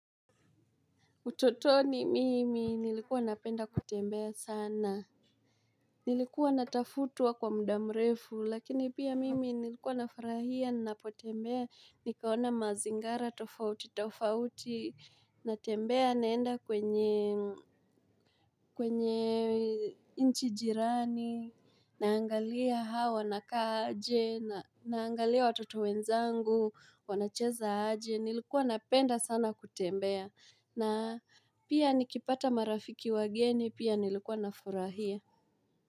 Utotoni mimi nilikuwa napenda kutembea sana. Nilikuwa natafutwa kwa muda mrefu lakini pia mimi nilikuwa nafurahia napotembea. Nikaona mazingara tofauti tofauti. Natembea naenda kwenye nchi jirani. Naangalia hao wanakaaje naangalia watoto wenzangu wanacheza aje. Nilikuwa napenda sana kutembea. Na pia nikipata marafiki wageni pia nilikuwa na furahia.